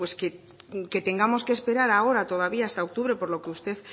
que tengamos que esperar ahora todavía hasta octubre por lo que usted